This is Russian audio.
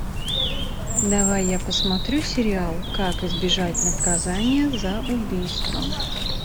давай я посмотрю сериал как избежать наказания за убийство